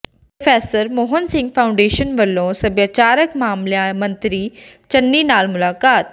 ੍ਹ professor Mohan Singh foundation ਵਲੋਂ ਸਭਿਆਚਾਰਕ ਮਾਮਲਿਆਂ ਮੰਤਰੀ ਚੰਨੀ ਨਾਲ ਮੁਲਾਕਾਤ